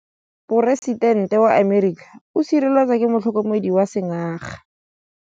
Poresitêntê wa Amerika o sireletswa ke motlhokomedi wa sengaga.